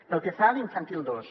pel que fa a l’infantil dos